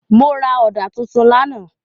Mo ra ọ̀dà tuntun lánàá.